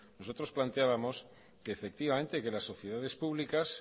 nosotros planteábamos que efectivamente que las sociedades públicas